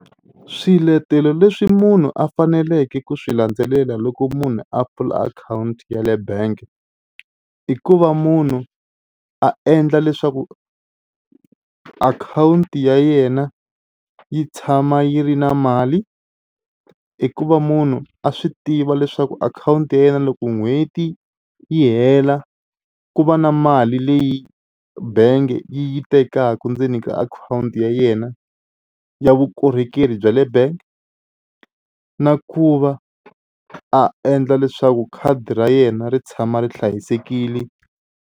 Swiletelo leswi munhu a faneleke ku swi landzelela loko munhu a pfula akhawunti ya le bank i ku va munhu a endla leswaku akhawunti ya yena yi tshama yi ri na mali i ku va munhu a swi tiva leswaku akhawunti ya yena loko n'hweti yi hela ku va na mali leyi bangi yi yi tekaka ndzeni ka akhawunti akhawunti ya yena ya vukorhokeri bya le bank na ku va a endla leswaku khadi ra yena ri tshama ri hlayisekile.